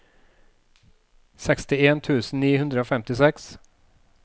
sekstien tusen ni hundre og femtiseks